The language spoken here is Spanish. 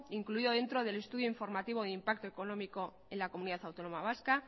incluido dentro del estudio informativo del impacto económico en la comunidad autónoma vasca